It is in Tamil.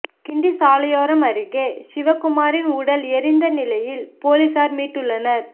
கிண்டி சாலையோரம் அருகே சிவக்குமாரின் உடல் எரிந்த நிலையில் போலீசார் மீட்டுள்ளனர்